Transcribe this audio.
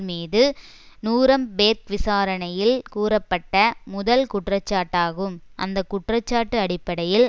மீது நூரம்பேர்க் விசாரணையில் கூறப்பட்ட முதல் குற்றச்சாட்டாகும் அந்த குற்றச்சாட்டு அடிப்படையில்